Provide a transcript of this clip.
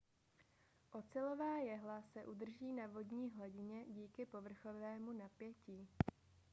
ocelová jehla se udrží na vodní hladině díky povrchovému napětí